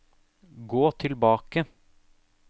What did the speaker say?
gå tilbake